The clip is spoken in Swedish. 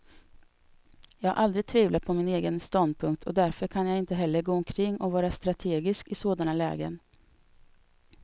Jag har aldrig tvivlat på min egen ståndpunkt, och därför kan jag inte heller gå omkring och vara strategisk i sådana lägen.